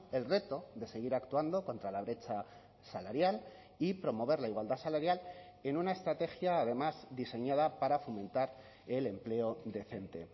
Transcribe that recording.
el reto de seguir actuando contra la brecha salarial y promover la igualdad salarial en una estrategia además diseñada para fomentar el empleo decente